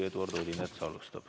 Eduard Odinets alustab.